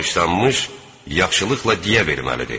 Bağışlanmış yaxşılıqla diyə verməlidir.